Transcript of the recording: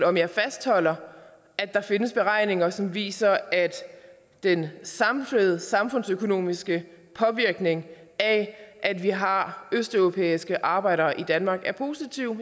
om jeg fastholder at der findes beregninger som viser at den samlede samfundsøkonomiske påvirkning af at vi har østeuropæiske arbejdere i danmark er positiv